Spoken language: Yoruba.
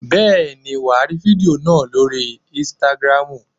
Bẹ́ẹ̀ni wàá rí fídíò náà lóri ínstágrámù.